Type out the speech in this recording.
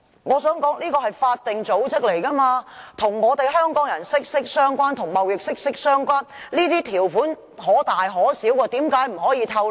我想指出的是，貿發局是法定組織，與香港人及貿易息息相關，這些條款可大可小，為何不可以透露？